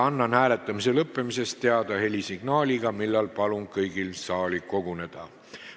Annan hääletamise lõppemisest teada helisignaaliga, seejärel palun kõigil saali koguneda.